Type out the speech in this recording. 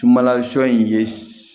Tumala sɔ in ye